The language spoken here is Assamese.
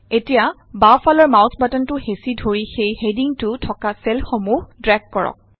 এতিয়া বাওঁফালৰ মাইছ বাটনটো হেঁচি ধৰি সেই হেডিংটো থকা চেলসমূহ ড্ৰেগ কৰক